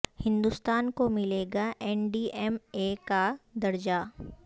ہندوستان کوملے گا N D M A کا د رجہ